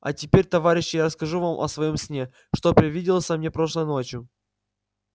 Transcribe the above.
а теперь товарищи я расскажу вам о своём сне что привиделся мне прошлой ночью